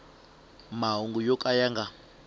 mahungu yo ka ya nga